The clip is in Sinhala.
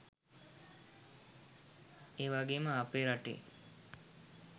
ඒවගේම අපේ රටේ